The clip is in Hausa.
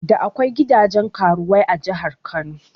Da akwai gidajen karuwai a jahar Kano